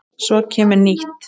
Svo kemur nýtt.